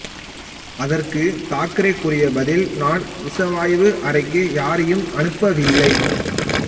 அதற்கு தாக்கரே கூறிய பதில் நான் விச வாயு அறைக்கு யாரையும் அனுப்பவில்லை